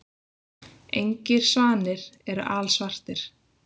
Engir svanir eru alsvartir.